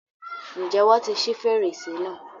Ǹjẹ́ wọ́n ti ṣi fèrèsé náà?